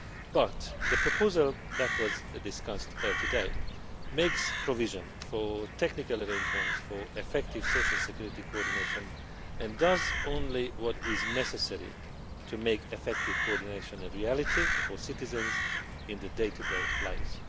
But the proposal that was discussed today makes provision for technical arrangements for effective social security coordination and does only what is necessary to make effective coordination a reality for citizens in their day to day lives.